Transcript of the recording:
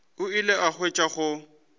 o ile a hwetša go